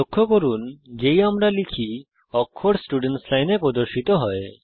লক্ষ্য করুন যেই আমরা লিখি অক্ষর স্টুডেন্টস লাইনে প্রদর্শিত হয়